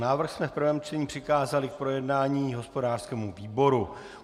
Návrh jsme v prvním čtení přikázali k projednání hospodářskému výboru.